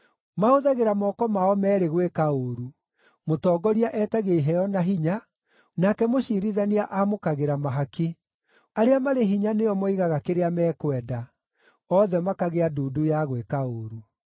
Mahũthagĩra moko mao meerĩ gwĩka ũũru; mũtongoria etagia iheo na hinya, nake mũciirithania aamũkagĩra mahaki; arĩa marĩ hinya nĩo moigaga kĩrĩa mekwenda: othe makagĩa ndundu ya gwĩka ũũru.